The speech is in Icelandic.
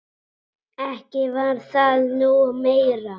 Ekki var það nú meira.